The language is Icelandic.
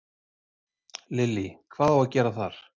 Lillý: Hvað á að gera þar?